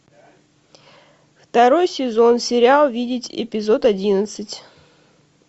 второй сезон сериал видеть эпизод одиннадцать